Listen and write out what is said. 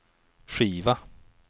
skiva